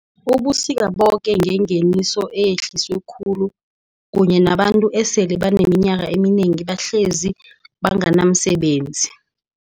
ubusika boke ngengeniso eyehliswe khulu, kunye nabantu esele baneminyaka eminengi bahlezi banganamsebenzi.